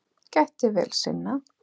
Gætti vel sinna.